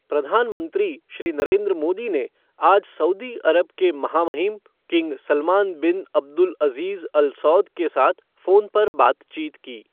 प्रधानमंत्री श्री नरेन्द्र मोदी ने आज सऊदी अरब के महामहिम king Salman bin Abdulaziz Al Saud के साथ फोन पर बातचीत की।